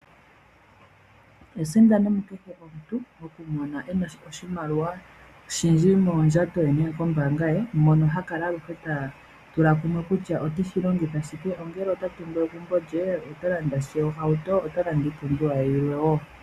Esindano mu kehe omuntu, oku mona oshimaliwa oshindji mondjato ye nenge kombaanga, mono aluhe ha kala ta tula kumwe kutya ote shilongitha shike. Ongele ota tungu egumbo lye, otalanda sha ohauto, ota landa iipumbiwa ye yilwe wo.